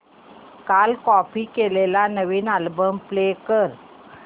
काल कॉपी केलेला नवीन अल्बम प्ले कर